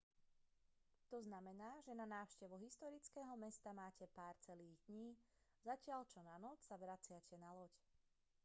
znamená to že na návštevu historického mesta máte pár celých dní zatiaľ čo na noc sa vraciate na loď